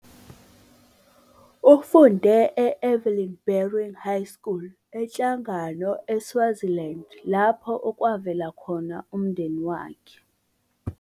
Ufunde e-Evelyn Baring High School eNhlangano eSwaziland, lapho avela khona umndeni wakhe.